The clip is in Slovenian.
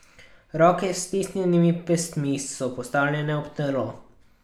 Roke s stisnjenimi pestmi so postavljene ob telo.